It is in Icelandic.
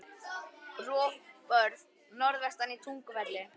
Rofbörð norðvestan í Tungufelli, austan Gullfoss.